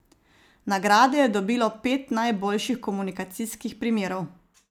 Nagrade je dobilo pet najboljših komunikacijskih primerov.